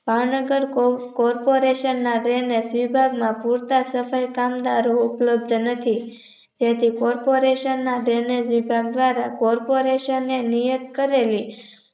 Bhavnagar Corporation ના Drainage વિભાગ ના પૂરતા કામદારો ઉપલબ્ધ નથી તેથી Corporation ના Drainage વિભાગ દ્વારા Corporation ને નિયત કરેલી